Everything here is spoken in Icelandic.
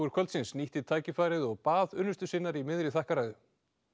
kvöldsins nýtti tækfærið og bað unnustu sinnar í miðri þakkarræðu